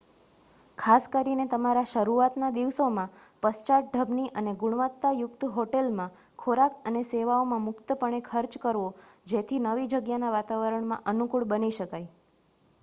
ખાસ કરીને તમારા શરૂઆતના દિવસોમાં પશ્ચાત ઢબની અને ગુણવત્તા યુક્ત હોટેલ માં ખોરાક અને સેવાઓમાં મુક્ત પણે ખર્ચ કરવો જેથી નવી જગ્યાના વાતાવરણમાં અનુકૂળ બની શકાય